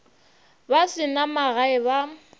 ba se na magae ba